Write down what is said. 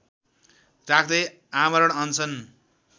राख्दै आमरण अनसन